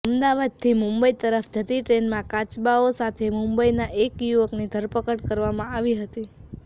અમદાવાદથી મુંબઇ તરફ જતી ટ્રેનમાં કાચબાઓ સાથે મુંબઇના એક યુવકની ધરપકડ કરવામાં આવી હતી